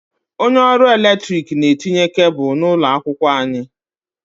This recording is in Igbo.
Onye ọrụ eletrik na-etinye kebụlụ n'ụlọ akwụkwọ anyị.